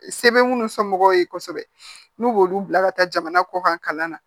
Sɛbɛn minnu sɔnmɔgɔw ye kosɛbɛ n'u b'olu bila ka taa jamana kɔkan kalan na